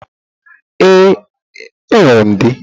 E, a nwèrém dí.